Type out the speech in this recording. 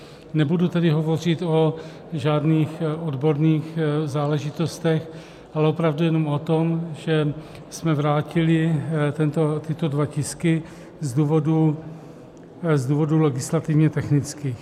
Nebudu tady hovořit o žádných odborných záležitostech, ale opravdu jenom o tom, že jsme vrátili tyto dva tisky z důvodů legislativně technických.